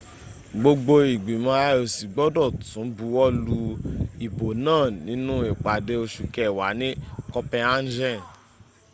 gbogbo ìgbìmọ̀ ioc gbọ́dọ̀ tún buwọ́lu ìbò náà nínú ìpàdé oṣù kẹwàá ní copenhagen